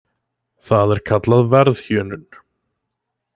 Það er kallað verðhjöðnun.